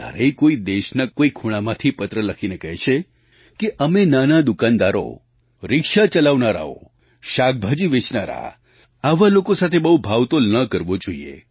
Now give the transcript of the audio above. ક્યારેય કોઈ દેશના કોઈ ખૂણામાંથી પત્ર લખીને કહે છે અમે નાના દુકાનદારો રિક્ષા ચલાવનારાઓ શાકભાજી વેચનારા આવા લોકો સાથે બહુ ભાવતોલ ન કરવા જોઈએ